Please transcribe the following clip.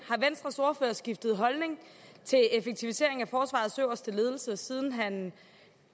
har skiftet holdning til effektivisering af forsvarets øverste ledelse siden han